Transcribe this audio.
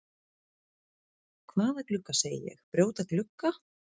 Hvaða glugga segi ég, brjóta glugga?